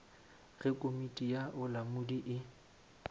ge komiti ya bolamodi e